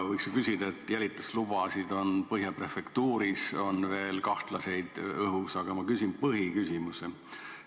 Võiks ju küsida selle kohta, et Põhja prefektuuris on kahtlasi jälituslubasid õhus, aga ma küsin põhiküsimuse.